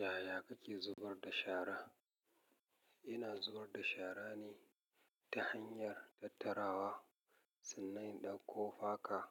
Yaya kake zubar da shara? Ina zubar da shara ne ta hanyar tattarawa. Sannan in ɗauko faka